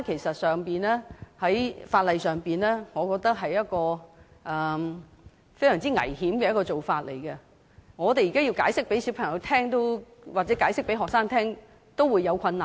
在法例上，我認為這是一種非常危險的做法，我們要向小朋友或學生解釋這個情況也有困難。